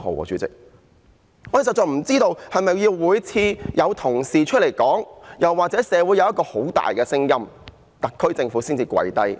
我們實在不知道，是否每次都要有同事提出議案或社會有很大的聲音，特區政府才會"跪低"。